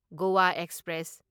Goa express